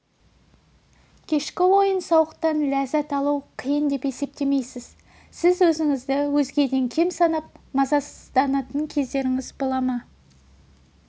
кешкі ойын-сауықтан ләззат алу қиын деп есептеймісіз сіз өзіңізді өзгеден кем санап мазасызданатын кездеріңіз бола ма